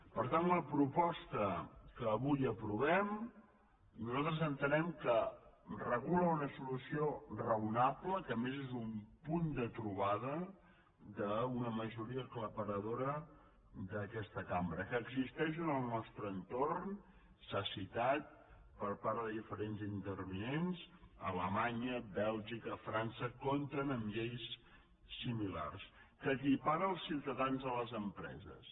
per tant la proposta que avui aprovem nosaltres entenem que regula una solució raonable que a més és un punt de trobada d’una majoria aclaparadora d’aquesta cambra que existeix en el nostre entorn s’ha citat per part de diferents intervinents que alemanya bèlgica i frança compten amb lleis similars que equipara els ciutadans a les empreses